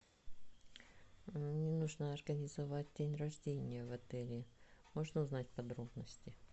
мне нужно организовать день рождения в отеле можно узнать подробности